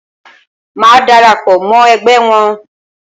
Màá dara pọ̀ mọ́ ẹgbẹ́ wọn.